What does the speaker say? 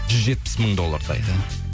жүз жетпіс мың доллардай иә